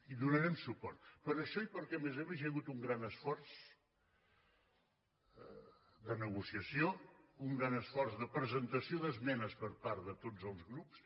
hi donarem suport per això i perquè a més a més hi ha hagut un gran esforç de negociació un gran esforç de presentació d’esmenes per part de tots els grups